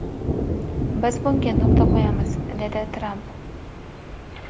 Biz bunga nuqta qo‘yamiz”, dedi Tramp.